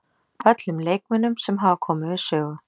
Öllum leikmönnunum sem hafa komið við sögu.